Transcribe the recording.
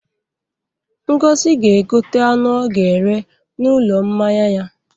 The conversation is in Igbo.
Ngozi ga-egote anụ ọ ga-eghe n'ụlọ mmanya ya.